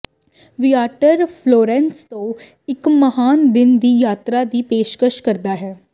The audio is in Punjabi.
ਵੀਆਟਰ ਫਲੋਰੈਂਸ ਤੋਂ ਇੱਕ ਮਹਾਨ ਦਿਨ ਦੀ ਯਾਤਰਾ ਦੀ ਪੇਸ਼ਕਸ਼ ਕਰਦਾ ਹੈ